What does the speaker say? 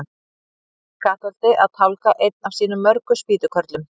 Emil í Kattholti að tálga einn af sínum mörgu spýtukörlum.